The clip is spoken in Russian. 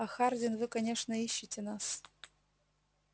а хардин вы конечно ищете нас